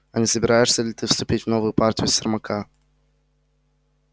а не собираешься ли ты вступить в новую партию сермака